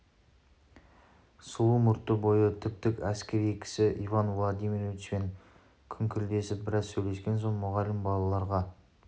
сұлу мұртты бойы тіп-тік әскери кісі иван владимировичпен күңкілдесіп біраз сөйлескен соң мұғалім балаларға